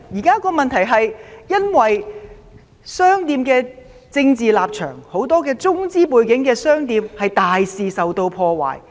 商店現時因為政治立場，很多中資背景的店鋪被大肆破壞。